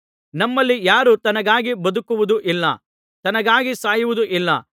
ನಮ್ಮಲ್ಲಿ ಯಾರು ತನಗಾಗಿ ಬದುಕುವುದು ಇಲ್ಲ ತನಗಾಗಿ ಸಾಯುವುದೂ ಇಲ್ಲ